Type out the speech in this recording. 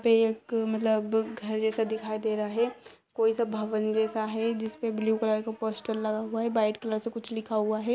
पे एक मतलब घर जैसा दिखाई दे रहा है। कोई सा भवन जैसा है जिसपे ब्लू कलर का पोस्टर लगा हुआ है वाईट कलर से कुछ लिखा हुआ है।